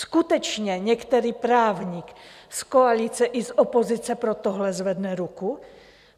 Skutečně některý právník z koalice i z opozice pro tohle zvedne ruku?